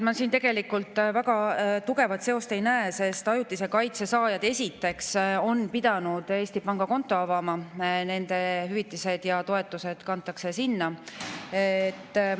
Ma siin väga tugevat seost ei näe, sest ajutise kaitse saajad, esiteks, on pidanud Eestis pangakonto avama, nende hüvitised ja toetused kantakse sinna.